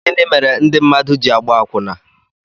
Gịnị mere ndị mmadụ ji àgbá àkwụnà?